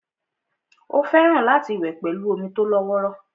Ó fẹ́ràn láti wẹ̀ pẹ̀lú omi tó lọ́wọ́rọ́